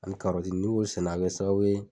Ani n'i sɛnɛ a bi sababu ye